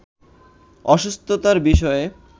অসুস্থতার বিষয়ে